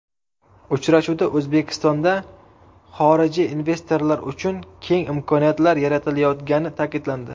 Uchrashuvda O‘zbekstonda xorijiy investorlar uchun keng imkoniyatlar yaratilayotgani ta’kidlandi.